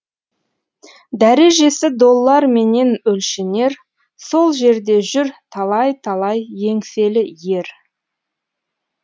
дәрежесі долларменен өлшенер сол жерде жүр талай талай еңселі ер